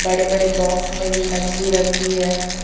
बड़े बड़े बॉक्स में भी मछली रखी है।